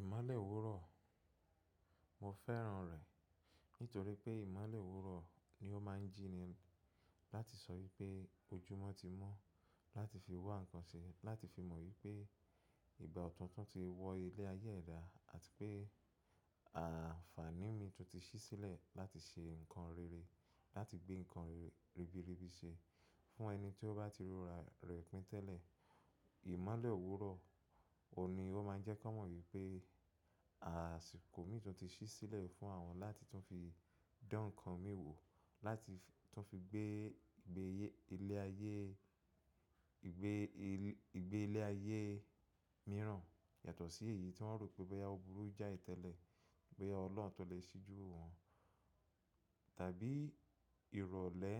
Ìmọ̀lẹ̀ òwúrọ̀, mo fẹ́ràn rẹ̀ nítorí pé ìmọ̀lẹ̀ òwúrọ̀ ni ó máa ń jíni láti sọ wípé ojúmọ́ ti mọ́ láti fi wá nǹkan ṣe láti fi mọ wípé ìgbà ọ̀tún tú ti wọ ilé ayé ẹ̀dá àti pé àǹfààní mi tú ti ṣí sílẹ̀ láti ṣe nǹkan rere, láti gbé nǹkan rere ribiribi ṣe. Fún ẹni tí ó bá ti rora rẹ̀ pín tẹ́lẹ̀, ìmọ̀lẹ̀ òwúrọ̀ òun ní ó máa ń jẹ́ ko mọ wípé àsìkò mi tú ti ṣí sílẹ̀ fún àwọn láti tún fi dán nǹkan mi wò, láti tún fi gbé ìgbé ilé ayé, ìgbé ilé ayé mìíràn yàtọ̀ sí èyí tí wọ́n rò pé bẹ́yà ọ burú jái tẹ́lẹ̀, boyà ọlọ́n tú lè ṣí jú wo wọn, tàbí ìrọ̀lẹ́.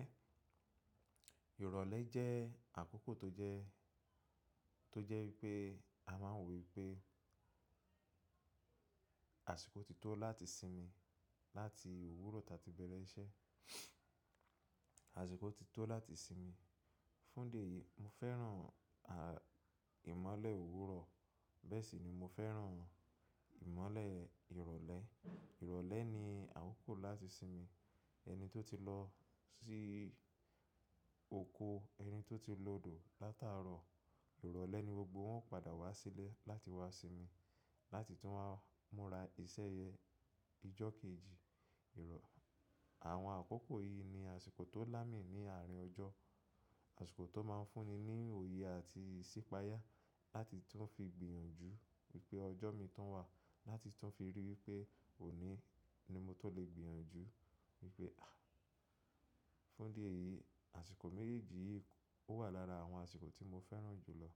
Ìrọ̀lẹ́ jẹ́ àkókò tó jẹ́, tó jẹ́ wípé a máa ń wo pé àsìkò ti tó láti sinmi láti òwúrọ̀ táa ti bẹ̀rẹ̀ iṣẹ́. Àsìkò ti tó láti sinmi. Fún ìdí eyìí mo fẹ́ràn ìmọ̀lẹ̀ òwúrọ̀, bẹ́ẹ̀ sì ni mo fẹ́ràn ìmọ̀lẹ̀ ìrọ̀lẹ́. Ìrọ̀lẹ́ ni àkókò láti sinmi. Ẹni tó ti lọ sí oko, ẹni tó ti lòdò látàárọ̀, ìrọ̀lẹ́ ni gbogbo wọn ó padà wá sílẹ̀ láti wá sinmi láti tún wá múra iṣẹ́ yẹn ijó kejì ìrọ̀. Àwọn àkókò yìí ni àsìkò tó lá mi ní àárín ọjọ́, àsìkò tó máa ń fún ni ní òye àti ìsípáyà láti tún fi gbìyànjú wípé ọjọ́ mi tun wà láti tún fi rí i wípé òní ni mo tó lè gbìyànjú wípé Fún idi eyìí àsìkò méjèèjì yìí ó wà lára àwọn àsìkò tí mo fẹ́ràn jù lọ.